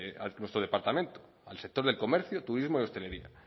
a nuestro departamento al sector del comercio turismo y hostelería